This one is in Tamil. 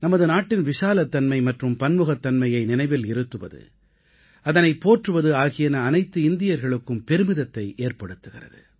நமது நாட்டின் விசாலத்தன்மை மற்றும் பன்முகத்தன்மையை நினைவில் இருத்துவது அதனைப் போற்றுவது ஆகியன அனைத்து இந்தியர்களுக்குக்கும் பெருமிதத்தை ஏற்படுத்துகிறது